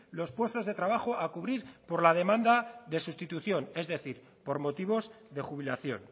los puestos de trabajo a cubrir por la demanda de sustitución es decir por motivos de jubilación